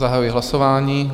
Zahajuji hlasování.